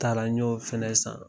A taara n y'o fɛnɛ san.